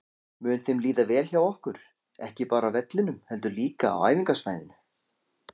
Mun þeim líða vel hjá okkur, ekki bara á vellinum heldur líka á æfingasvæðinu?